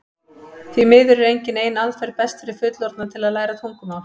því miður er engin ein aðferð best fyrir fullorðna til að læra tungumál